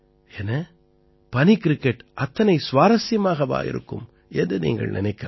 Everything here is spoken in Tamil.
என்ன பனி கிரிக்கெட் அத்தனை சுவாரசியமாகவா இருக்கும் என்று நீங்கள் நினைக்கலாம்